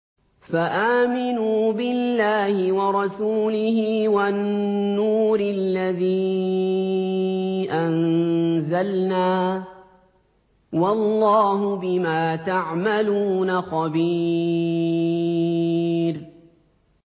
فَآمِنُوا بِاللَّهِ وَرَسُولِهِ وَالنُّورِ الَّذِي أَنزَلْنَا ۚ وَاللَّهُ بِمَا تَعْمَلُونَ خَبِيرٌ